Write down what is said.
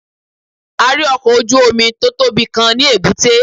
A rí ọkọ̀ ojú Omi tótọ́bi Kan ní èbúté